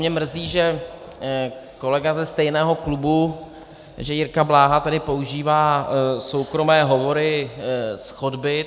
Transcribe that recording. Mě mrzí, že kolega ze stejného klubu, že Jirka Bláha tady používá soukromé hovory z chodby.